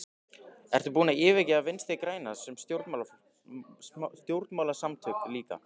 Ertu búinn að yfirgefa Vinstri-græna sem stjórnmálasamtök líka?